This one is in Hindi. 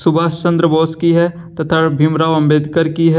सुभाष चंद्र बोस की है तथा भीमराव अंबेडकर की है।